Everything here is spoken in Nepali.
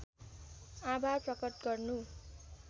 आभार प्रकट गर्नु